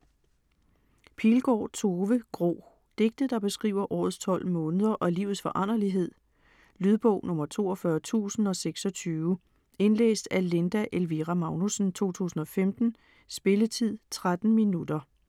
Pilgaard, Tove: Gro Digte, der beskriver årets tolv måneder og livets foranderlighed. Lydbog 42026 Indlæst af Linda Elvira Magnussen, 2015. Spilletid: 0 timer, 13 minutter.